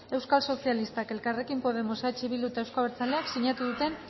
euskal sozialistak elkarrekin podemos eh bildu eta euzko abertzaleak sinatu duten